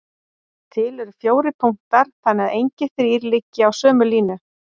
Til eru fjórir punktar þannig að engir þrír liggi á sömu línu.